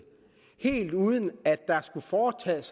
helt uden at der skulle foretages